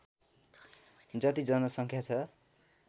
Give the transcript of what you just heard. जति जनसङ्ख्या छ